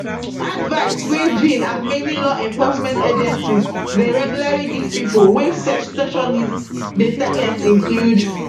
advice wey jenn and many lawenforcement agencies deyregularly givepipo wey sextortionists dey target include